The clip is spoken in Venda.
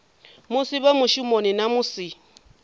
musi vhe mushumoni na musi